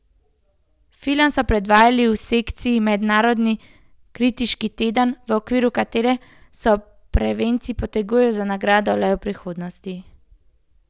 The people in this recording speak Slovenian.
Film so predvajali v sekciji Mednarodni kritiški teden, v okviru katere se prvenci potegujejo za nagrado lev prihodnosti.